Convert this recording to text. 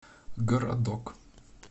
городок